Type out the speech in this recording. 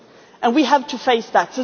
but they exist and we have